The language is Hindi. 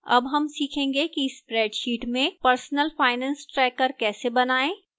अब हम सीखेंगे कि spreadsheet में personal finance tracker कैसे बनाएं